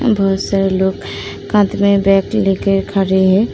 इधर बहोत सारे लोग खड़े हैं।